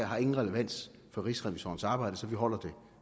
har nogen relevans for rigsrevisorernes arbejde så vi holder det